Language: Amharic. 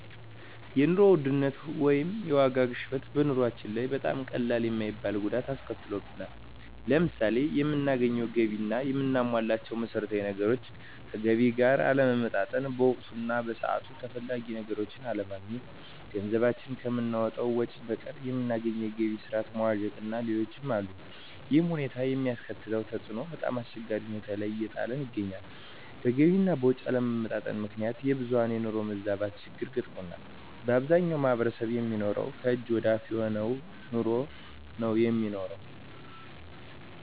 የኑሮ ውድነት ወይም የዋጋ ግሽበት በኑሮአችን ላይ በጣም ቀላል የማይባል ጉዳት አስከትሎብናል። ለምሳሌ የምናገኘው ገቢ እና የምናሟላቸው መሠረታዊ ነገሮች ከገቢ ጋር አለመመጣጠን፣ በወቅቱ እና በሰዓቱ ተፈላጊ ነገሮችን አለማግኘት፣ ገንዘባችን ከምናወጣው ወጭ በቀር የምናገኘው የገቢ ስረዓት መዋዠቅእና ሌሎችም አሉ። ይሕም ሁኔታ የሚያስከትለው ተፅዕኖ በጣምአስቸጋሪ ሁኔታ ላይ እየጣለን ይገኛል። በገቢ አና ወጭ አለመመጣጠን ምክንያት የብዙሀን የኑሮ መዛባት ችግር ገጥሞናል። በአብዛኛው ማሕበረሰብ የሚኖረው ከእጅ ወደ አፍ የሆነ ኑሮ ነው የሚኖረው።